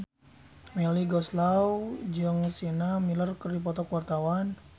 Melly Goeslaw jeung Sienna Miller keur dipoto ku wartawan